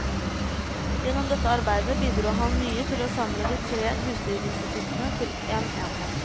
Gjennom dette arbeidet bidro han mye til å samle de tre husdyrinstituttene til en enhet.